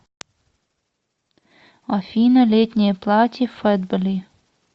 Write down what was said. афина летнее платье фатбелли